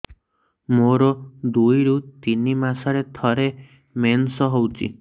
ମୋର ଦୁଇରୁ ତିନି ମାସରେ ଥରେ ମେନ୍ସ ହଉଚି